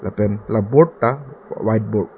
pen board ta white board .